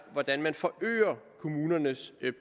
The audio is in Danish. hvordan man forøger kommunernes